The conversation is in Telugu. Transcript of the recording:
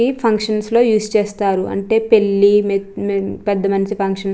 ఈ ఫంక్షన్స్ లో యూస్ చేస్తారు. అంటే పెళ్లి మెచ్-మె-పెద్ద మనిషి ఫంక్షన్ --